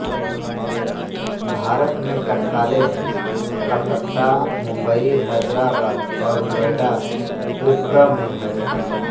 भारत में टकसालें कलकत्ता मुंबई हैदराबाद और नोएडा उप्र में हैं